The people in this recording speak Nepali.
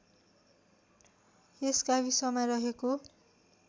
यस गाविसमा रहेको